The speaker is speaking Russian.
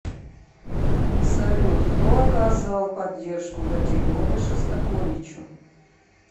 салют кто оказал поддержку в эти годы шостаковичу